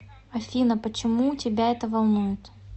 афина почему тебя это волнует